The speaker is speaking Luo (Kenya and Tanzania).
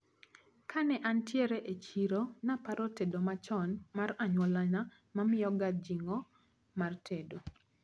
Kane antiere echiro naparo tedo machon mar anyuolana mamiyaga jing`o mar tedo.